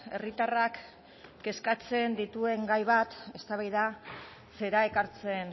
herritarrak kezkatzen dituen gai bat eztabaidatzera ekartzen